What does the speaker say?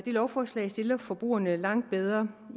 lovforslaget stiller forbrugerne langt bedre